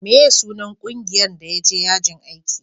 meye sunan ƙungiyan da ya je yajin aiki?